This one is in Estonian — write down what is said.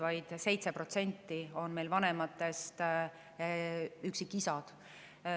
Vaid 7% üksikvanematest on üksikisad.